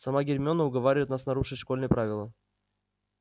сама гермиона уговаривает нас нарушить школьные правила